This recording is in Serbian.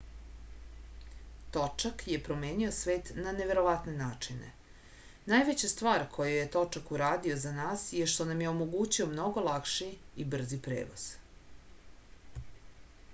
točak je promenio svet na neverovatne načine najveća stvar koju je točak uradio za nas je što nam je omogućio mnogo lakši i brži prevoz